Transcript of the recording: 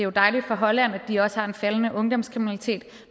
er dejligt for holland at de også har en faldende ungdomskriminalitet